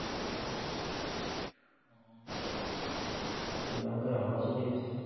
শ্ৰীলংকাৰ हावा চুটি গৈছে।